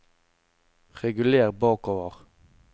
reguler bakover